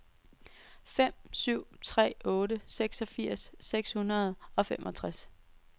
fem syv tre otte seksogfirs seks hundrede og femogtres